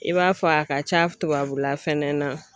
I b'a fɔ a ka ca tubabula fɛnɛ na